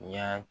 Y'a